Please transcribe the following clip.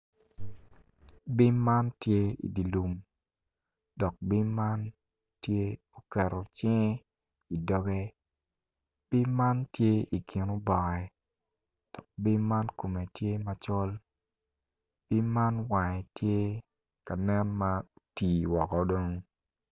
Bim man tye i dye lum bongi ma kirukogi aruka i kom toi dok bongi man tye bongi gomci ki latere ma kitweyo i kome med ki koti ma kiruku ki kanyu ka nen ma otii woko.